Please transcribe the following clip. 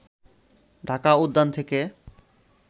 ঢাকা উদ্যান থেকে